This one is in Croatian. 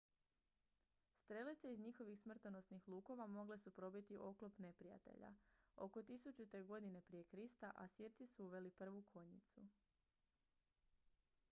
strelice iz njihovih smrtonosnih lukova mogle su probiti oklop neprijatelja oko 1000. g pr kr asirci su uveli prvu konjicu